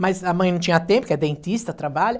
Mas a mãe não tinha tempo, que é dentista, trabalha.